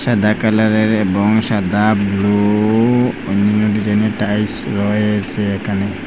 Black কালারের এবং সাদা ব্লু অন্য ডিজাইনের টাইলস রয়েছে এখানে।